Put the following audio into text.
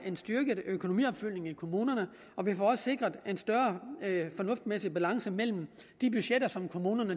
en styrket økonomiopfølgning i kommunerne og vi får sikret en større fornuftsmæssig balance mellem de budgetter som kommunerne